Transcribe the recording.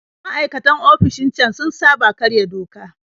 Maikatan ofishin can sun saba karya doka